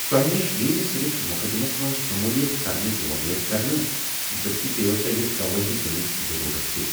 تۄہہِ نِش یی یہِ نہٕ صِرِف مُقدِمس منٛز شٔموٗلِیت کرنٕچ وۄمید كرنہٕ ، بٔلکہِ پیٚیَو تۄہہہِ گَوٲہی دِنٕچ ضٔروٗرت تہِ۔